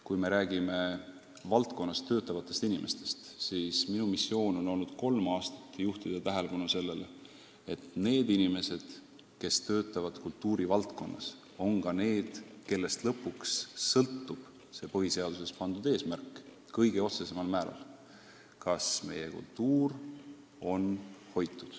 Kui me räägime kultuurivaldkonnas töötavatest inimestest, siis minu missioon on olnud kolm aastat juhtida tähelepanu sellele, et nendest inimestest sõltub põhiseaduses kirjas oleva eesmärgi täitmine kõige otsesemal määral: nendest sõltub, kas meie kultuur on hoitud.